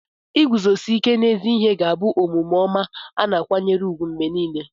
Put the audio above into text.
Iguzosi ike n'ezi ihe ga-abụ omume ọma a na-akwanyere ùgwù mgbe niile.